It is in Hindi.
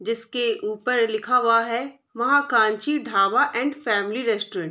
जिसके ऊपर लिखा हुआ है Mahakanchi dhaba and family restaurant.